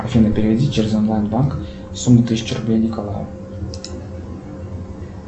афина переведи через онлайн банк сумму тысяча рублей николаю